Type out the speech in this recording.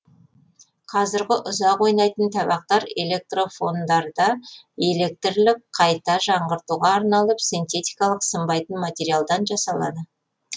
қазіргі ұзақ ойнайтын табақтар электрофондарда электрлік қайта жаңғыртуға арналып синтетикалық сынбайтын материалдан жасалады